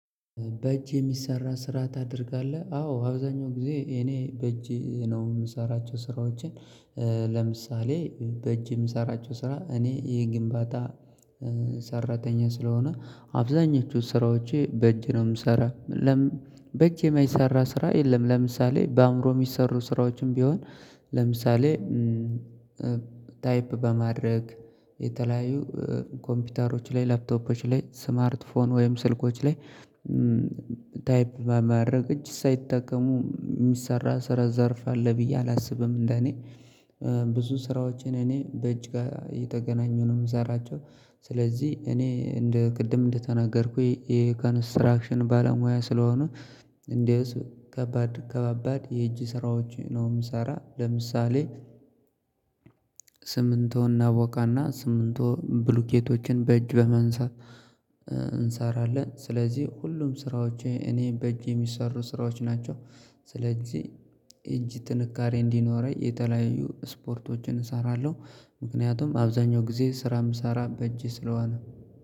በእጅ የሚሰራ ስራ ታደርጋለህ አዎ አብዛኛው ጊዜ እኔ በእጅ ነው የምሰራቸው ስራዎችን። ለምሳሌ በእጅ የምሰራቸው ስራ እኔ ይሄ ግንባታ። ሰራተኛ ስለሆነ አብዛኞቹ ስራዎቼ በእጅ ነው የምሰራ ልምን በእጅ የማይሰራ ስራ የለም። ለምሳሌ በአእምሮ የሚሰሩ ስራዎችም ቢሆን። ለምሳሌ ታይፕ በማድረግ የተለያዩ ኮምፒውተሮች ላይ ላፕቶፖች ላይ ስማርት ፎን ወይም ስልኮች ላይ። ባማድረግ እጅ ሳይጠቀሙ የሚሰራ ስራ ዘርፍ አለ ብዬ አላስብም። እንደኔ ብዙ ስራዎቼን እኔ በእጅ ጋ የተገናኙ ነው የምሰራቸው። ስለዚህ እኔ እንደ ቅድም እንደተናገርኩኝ ይሄ ኮንስትራክሽን ባለሙያ ስለሆኑ። እንዴውስ ከባድ ከባባድ የእጅ ስራዎች ነው የምሰራ። ለምሳሌ ስምንቶ እናቦካና ስምንቶ ብሉኬቶችን በእጅ በማንሳት እንሰራለን። ስለዚህ ሁሉም ስራዎቼ እኔ በእጅ የሚሰሩ ስራዎች ናቸው። ስለዚህ እጅ ትንካሬ እንዲኖረኝ የተለያዩ ስፖርቶችን እሰራለሁ። ምክንያቱም አብዛኛው ጊዜ ስራ ምሰራ በእጄ ስለሆነ